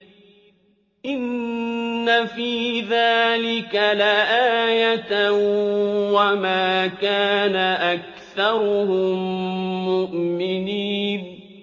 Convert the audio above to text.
إِنَّ فِي ذَٰلِكَ لَآيَةً ۖ وَمَا كَانَ أَكْثَرُهُم مُّؤْمِنِينَ